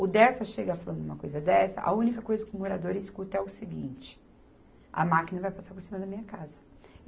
O Dersa chega falando uma coisa dessa, a única coisa que o morador escuta é o seguinte, a máquina vai passar por cima da minha casa.